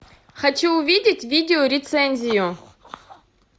хочу увидеть видео рецензию